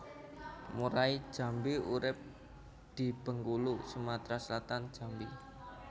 Murai Jambi urip di Bengkulu Sumatra Selatan Jambi